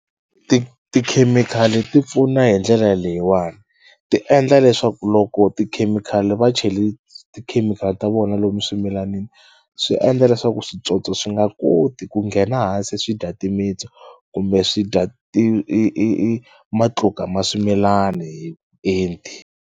Ti tikhemikhali ti pfuna hi ndlela leyiwani ti endla leswaku loko tikhemikhali va cheli tikhemikhali ta vona lomu swimilanini swi endla leswaku switsotso swi nga koti ku nghena hansi swi dya timitsu kumbe swi dya i i i i matluka ma swimilani hi vuenti.